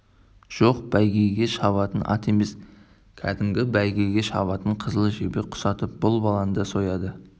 жоқ бәйгеге шабатын ат емес кәдімгі бала бәйгеге шабатын қызыл жебе құсатып бұл баланы да сояды